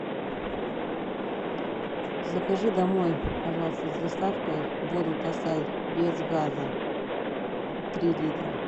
закажи домой пожалуйста с доставкой воду тасай без газа три литра